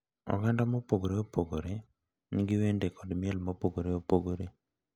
Oganda mopogore opogore nigi wende kod miel mopogore opogore .